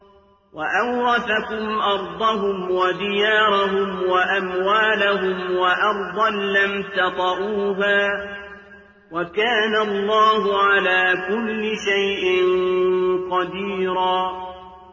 وَأَوْرَثَكُمْ أَرْضَهُمْ وَدِيَارَهُمْ وَأَمْوَالَهُمْ وَأَرْضًا لَّمْ تَطَئُوهَا ۚ وَكَانَ اللَّهُ عَلَىٰ كُلِّ شَيْءٍ قَدِيرًا